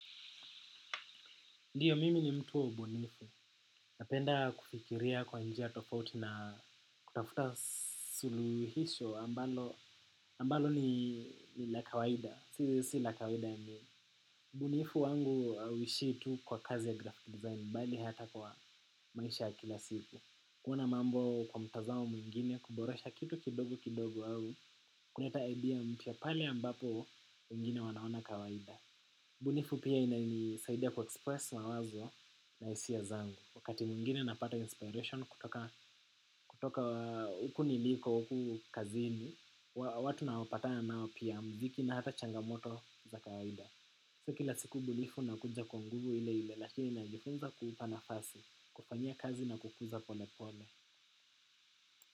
Ndiyo mimi ni mtu wa ubunifu. Napenda kufikiria kwa njia tofauti na kutafuta suluhisho ambalo ambalo ni la kawaida. Si si la kawaida yaani. Ubunifu wangu hauishii tu kwa kazi ya graphic design bali hata kwa maisha kila siku. Kuona mambo kwa mtazamo mwingine kuboresha kitu kidogo kidogo au. Kuleta idea mpya pale ambapo wengine wanaona kawaida. Ubunifu pia inanisaidia ku express mawazo na hisia zangu wakati mwingine napata inspiration kutoka huku niliko, huku kazini. Watu nawapatana nao pia mziki na hata changamoto za kawaida. Si kila siku ubunifu unakuja kwa nguvu ile ile lakini najifunza kuupa nafasi. Kufanyia kazi na kukuza pole pole.